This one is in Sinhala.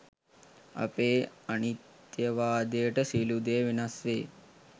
අපේ අනිත්යවාදයට සියලු දේ වෙනස් වේ